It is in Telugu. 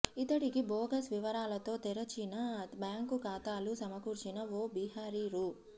ఇతడికి బోగస్ వివరాలతో తెరిచిన బ్యాంకు ఖాతాలు సమకూర్చిన ఓ బిహారీ రూ